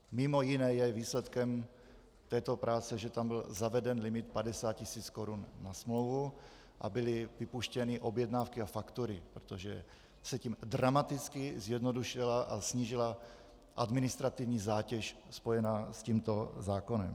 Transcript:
Mimo jiné je výsledkem této práce, že tam byl zaveden limit 50 tisíc korun na smlouvu a byly vypuštěny objednávky a faktury, protože se tím dramaticky zjednodušila a snížila administrativní zátěž spojená s tímto zákonem.